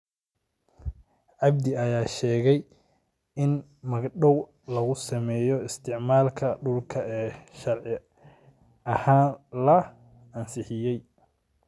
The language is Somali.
Cabdi ayaa sheegay in magdhowga lagu sameeyo isticmaalka dhulka ee sharci ahaan la ansixiyay.